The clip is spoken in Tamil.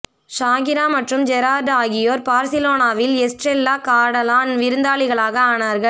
ஷகிரா மற்றும் ஜெரார்டு ஆகியோர் பார்சிலோனாவில் எஸ்ட்ரெல்லா காடலான் விருந்தாளிகளாக ஆனார்கள்